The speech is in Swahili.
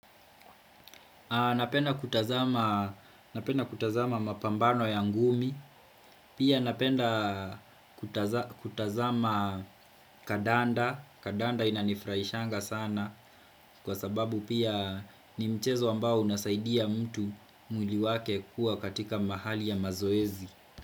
Napenda kutazama mapambano ya ngumi, pia napenda kutazama kadanda, kadanda inanifraishanga sana kwa sababu pia ni mchezo ambao unasaidia mtu mwili wake kuwa katika mahali ya mazoezi.